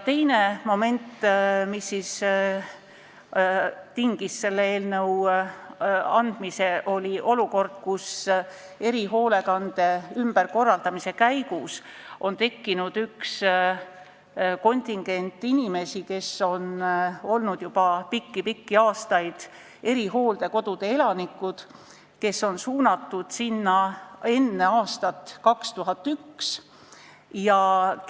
Teine moment, mis tingis selle eelnõu algatamise, oli see, et erihoolekande ümberkorraldamise käigus on tekkinud kontingent inimesi, kes on olnud juba pikki-pikki aastaid erihooldekodude elanikud, nad on suunatud sinna enne aastat 2001, aga